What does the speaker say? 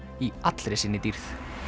í allri sinni dýrð